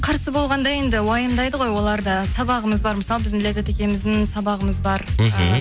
қарсы болғанда енді уайымдайды ғой олар да сабағымыз бар мысалы біздің ләззат екеуміздің сабағымыз бар мхм